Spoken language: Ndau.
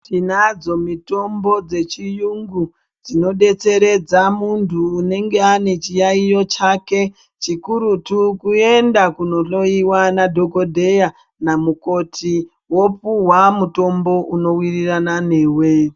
Tinadzo mitombo dzechiungu dzinodetseredza muntu unenge anechiyayiyo chake. Chikurutu kuenda kunohloyiwa nadhokodheya namukoti wopuwa mutombo unowirirana newe.